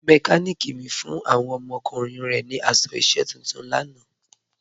Mẹkàníkì mi fún awọn ọmọkùnrin rẹ̀ ni aṣọ iṣẹ̀ tuntun lànà.